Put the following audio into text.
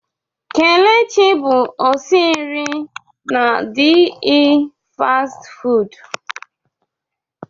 Kelechi bụ osi nri na DE chois fastị fụụdụ.